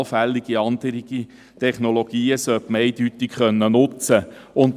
Allfällige andere Technologien sollte man jedoch eindeutig nutzen können.